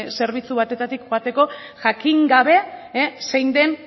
zerbitzu batetik joateko jakin gabe zein den